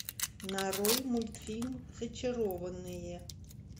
нарой мультфильм зачарованные